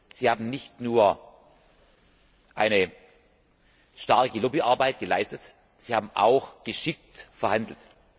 Sie haben nicht nur eine starke Lobbyarbeit geleistet, Sie haben auch geschickt verhandelt.